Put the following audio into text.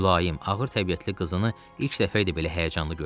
Mülayim, ağır təbiətli qızını ilk dəfə idi belə həyəcanlı görürdü.